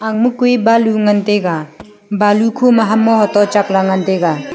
emma ma kue balu ngan taega balu kho ma hamma hoto chak la ngan taega.